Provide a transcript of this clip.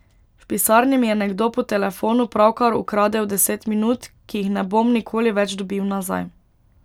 V pisarni mi je nekdo po telefonu pravkar ukradel deset minut, ki jih ne bom nikoli več dobil nazaj.